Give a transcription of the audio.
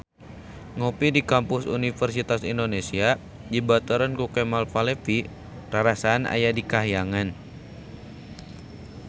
Ngopi di Kampus Universitas Indonesia dibaturan ku Kemal Palevi rarasaan aya di kahyangan